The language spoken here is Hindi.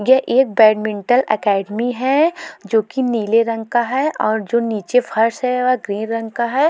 ये एक बेडमिंटल अकेडमी है जो कि नीले रंग का है और जो नीचे फर्श है वह ग्रीन रंग का है।